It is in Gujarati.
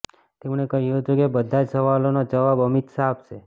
તેમણે કહ્યું હતું કે બધા જ સવાલોના જવાબ અમિત શાહ આપશે